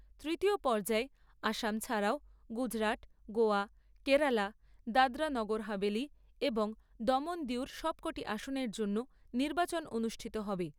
তৃতীয় পর্যায়ে আসাম ছাড়াও গুজরাট, গোয়া কেরালা দাদরা নগর হাভেলি এবং দমন দিউর সবকটি আসনের জন্য নির্বাচন অনুষ্ঠিত হবে।